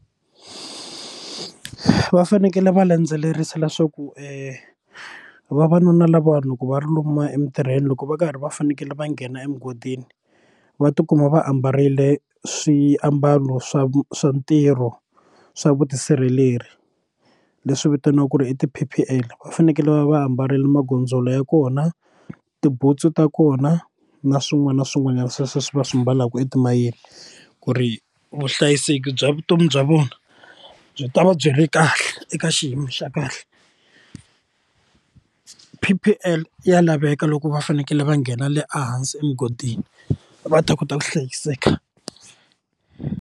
Va fanekele va landzelerisa leswaku e vavanuna lava loko va ri lomu emitirhweni loko va karhi va fanekele va nghena emugodini va tikuma va ambarile swiambalo swa swa ntirho swa vutisirheleri leswi vitaniwaka ku ri i ti P_P_L va fanekele va va ambarile magondzolo ya kona tibutsu ta kona na swin'wana na swin'wanyana sweswo va swi mbalaka etimayini ku ri vuhlayiseki bya vutomi bya vona byi ta va byi ri kahle eka xiyimo xa kahle P_P_L ya laveka loko va fanekele va nghena le a hansi emugodini va ta kota ku hlayiseka.